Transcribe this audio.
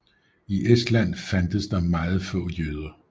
I Estland fandtes der meget få jøder